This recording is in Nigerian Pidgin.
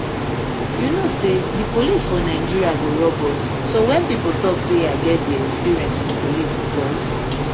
you know say di police for nigeria go rob us so wen pipo tok say i get di experience wit police becos